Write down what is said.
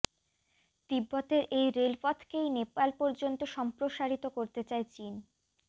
তিব্বতের এই রেলপথকেই নেপাল পর্যন্ত সম্প্রসারিত করতে চায় চীন